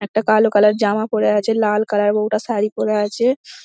একটা কালো কালার জামা পরে আছে লাল কালার বৌটা শাড়ি পরে আছে।